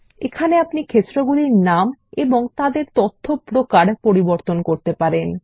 এখানে আপনি ক্ষেত্রগুলির নাম এবং তাদের তথ্যপ্রকার পরিবর্তন করতে পারেন